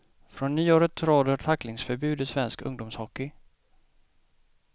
Från nyåret råder tacklingsförbud i svensk ungdomshockey.